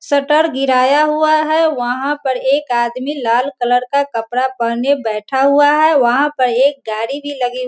shutter गिराया हुआ है | वहाँ पर एक आदमी लाल कलर का कपड़ा पहेने बैठा हुआ है | वहाँ पर एक गाड़ी भी लगी --